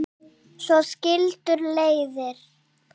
En svo skildu leiðir.